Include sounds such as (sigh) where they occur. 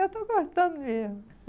Eu estou gostando mesmo. (laughs)